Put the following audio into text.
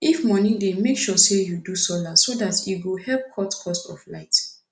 if moni dey mek sure say yu do solar so dat e go help cut cost for light